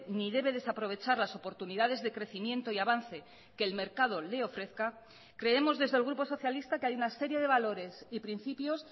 ni debe desaprovechar las oportunidades de crecimiento y avance que el mercado le ofrezca creemos desde el grupo socialista que hay una serie de valores y principios